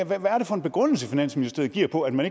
hvad er det for en begrundelse finansministeriet giver for at man